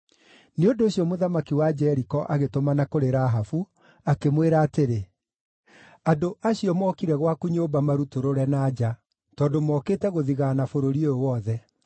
Nĩ ũndũ ũcio mũthamaki wa Jeriko agĩtũmana kũrĩ Rahabu, akĩmwĩra atĩrĩ, “Andũ acio mokire gwaku nyũmba marutũrũre na nja, tondũ mokĩte gũthigaana bũrũri ũyũ wothe.”